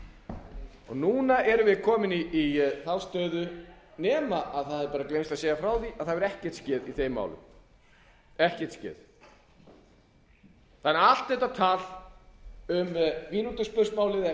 mínútuspursmál núna erum við komin í þá stöðu nema það hafi gleymst að segja frá því að það hefur ekkert skeð í þeim málum það er allt þetta tal um mínútuspursmálið klukkutíma eða